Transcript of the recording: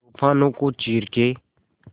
तूफानों को चीर के